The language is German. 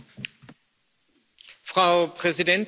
Frau Präsidentin, Herr Kommissar!